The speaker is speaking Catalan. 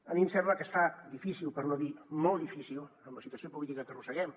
a mi em sembla que es fa difícil per no dir molt difícil amb la situació política que arrosseguem